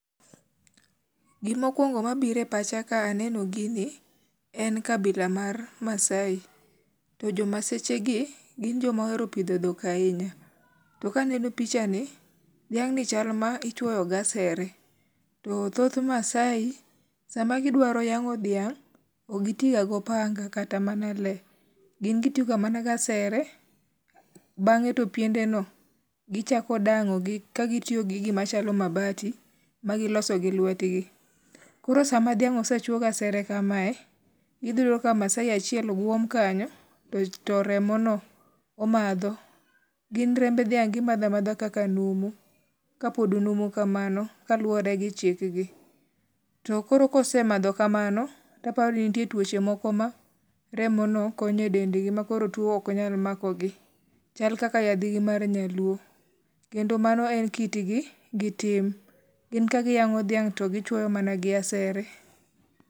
Gimokuongo mabire pacha ka aneno gini en kabila mar Maasai. To jo Maseche gi, gin joma ohero pidho dhok ahinya. To kaneno picha ni, dhiang' ni chal ma ichwoyo gasere. To thoth Maasai, sama gidwa yang'o dhiang', gin gitiyo ga mana gasere. Bang'e to piende no gichako dang'o gi ka gitiyo gi gima chalo mabati, ma giloso gi lwetgi. Koro sama dhiang' osechwo gasere kamae, idhiyudo ka Maasai achiel guom kanyo to remo no omadho. Gin remb dhiang' gimadha madha kaka numu, ka pod numu kamano kaluwore gi chikgi. To koro kosemadho kamano, taparo ni nitie tuoche moko ma remo no konyo gi e dend gi. Ma koro tuo ok nyal mako gi, chal kaka yadh gi mar nyaluo. Kendo mano en kitgi gi tim, gin ka giyang'o dhiang' to gichwuoyo mana gasere.